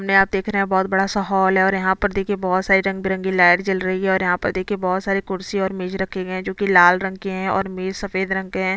ऊपर छत पे बहोत सारे लाइटिंग और सीरीज लगी हुई है।